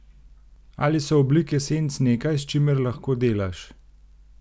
Ali so oblike senc nekaj, s čimer lahko delaš?